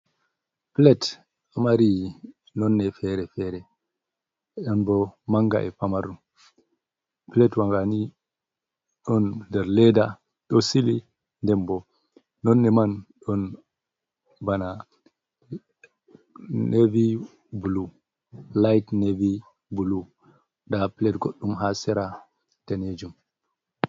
plate ɗo mari nonde fere-fere, don bo manga e pamaru, plate wa nga ni ɗon nder leda ɗo sili, nden bo nonde man don bana navy bulu light navy bulu, nda plate goɗɗum ha sera danejum.